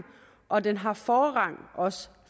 og den har også forrang